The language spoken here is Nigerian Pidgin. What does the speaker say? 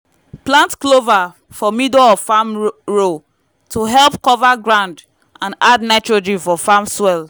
plant clover for middle of farm row to help cover ground and add nitrogen for farm soil